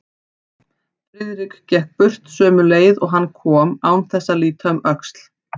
Friðrik gekk burt sömu leið og hann kom án þess að líta um öxl.